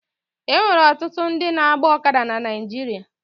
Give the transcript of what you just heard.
E nwere ọtụtụ ndị na-agba ọkada na Naịjirịa